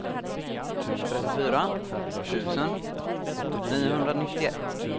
trettiofyra tusen niohundranittioett